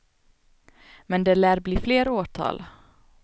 Men det lär bli fler åtal.